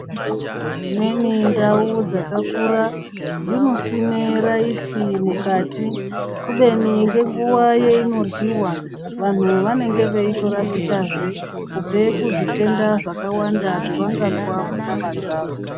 Dzimweni ndau dzakakura ,dzinosime raisi mukati, kubeni ngenguwa yeinoryiwa vanhu vanenge veitorapikazve kubve kuzvitenda zvakawanda zvavangazwa munyama dzavo.